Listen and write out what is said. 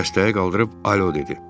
Dəstəyi qaldırıb alo dedi.